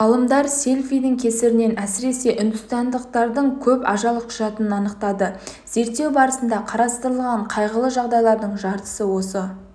ғалымдар селфидің кесірінен әсіресе үндістандықтардың көп ажал құшатынын анықтады зерттеу барысында қарастырылған қайғылы жағдайлардың жартысы осы